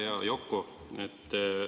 Hea Yoko!